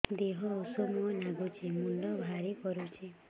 ଦିହ ଉଷୁମ ନାଗୁଚି ମୁଣ୍ଡ ଭାରି କରୁଚି